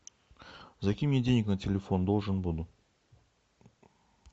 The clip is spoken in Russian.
закинь мне денег на телефон должен буду